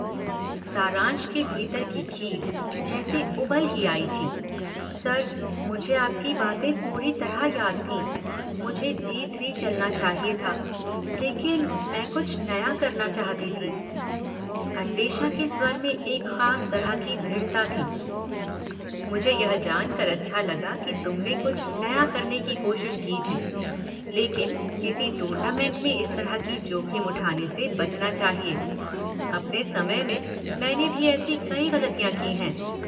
सारांश के भीतर की खीझ जैसे उबल ही आई थी। सर, मुझे आपकी बातें पूरी तरह याद थीं, मुझे जी थ्री चलना चाहिए था, लेकिन मैं कुछ नया करना चाहती थी। अन्वेषा के स्वर में एक खास तरह की दृढ़ता थी। मुझे यह जान कर अच्छा लगा कि तुमने कुछ नया करने की कोशिश की थी। लेकिन किसी टूर्नामेंट में इस तरह की जोखिम उठाने से बचना चाहिए। अपने समय में मैंने भी ऐसी कई गलतियाँ की हैं।